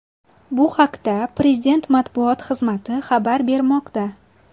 Bu haqda Prezident matbuot xizmati xabar bermoqda .